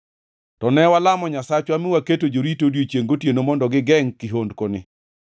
To ne walamo Nyasachwa mi waketo jorito odiechiengʼ gotieno mondo gigengʼ kihondkoni.